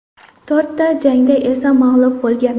To‘rtta jangda esa mag‘lub bo‘lgan.